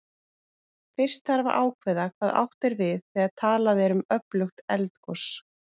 Fyrst þarf að ákveða hvað átt er við þegar talað er um öflugt eldgos.